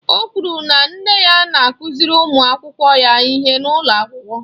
Ọ kwụrụ na nne ya na-akụziri ụmụ akwụkwọ ya ihe n'ụlọ akwụkwọ.